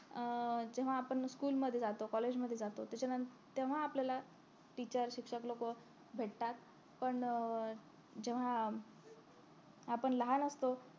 अं जेव्हा आपण school मध्ये जातो college मध्ये जातो त्याच्यानंतर तेव्हा आपल्याला teacher शिक्षक लोक भेटतात पण अं जेव्हा आपण लहान असतो